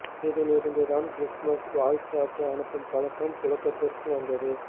இதிலிருந்து தான் கிறிஸ்துமஸ் வாழ்த்து அட்டை அனுப்பும் பழக்கம் புழக்கத்திற்கு வந்தது